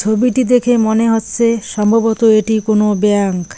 ছবিটি দেখে মনে হচ্ছে সম্ভবত এটি কোনো ব্যাংক ।